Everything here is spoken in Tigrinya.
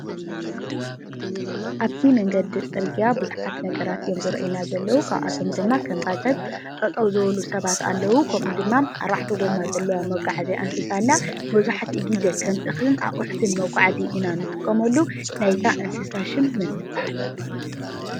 ኣብቲ መንገዲ ፅርግያ ቡዙሓትነገራት እዮም ዝርአዩና ዘለዉ፡፡ ካብኣቶም ድማ ከም ባጃጅ ጠጠው ዝበሉ ሰባት ኣለዉ፡፡ ከምኡ ድማ ኣርባዕተ ጎማ ዘለዋ መጓዓዝያ እንስሳ ኣላ፡፡ መብዛሕትኡ ግዜ ከም እክልን ኣቁሕትን መጓዓዚ ኢና እንጥቀመሉ፡፡ ናይ እዛ እንስሳ ሽም መን ትባሃል?